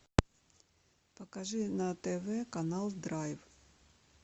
покажи на тв канал драйв